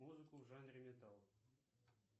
музыку в жанре металл